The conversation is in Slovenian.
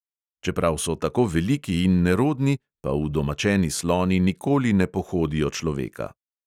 Čeprav so tako veliki in nerodni, pa udomačeni sloni nikoli ne pohodijo človeka.